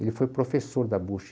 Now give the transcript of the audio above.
Ele foi professor da Bocha.